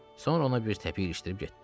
Sonra ona bir təpik ilişdirib getdi.